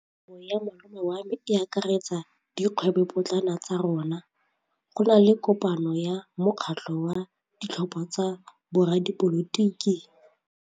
Kgwêbô ya malome wa me e akaretsa dikgwêbôpotlana tsa rona. Go na le kopanô ya mokgatlhô wa ditlhopha tsa boradipolotiki.